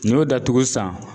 N y'o datugu sisan